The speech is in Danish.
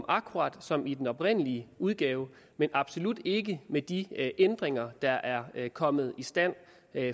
akkurat som i den oprindelige udgave men absolut ikke med de ændringer der er kommet i stand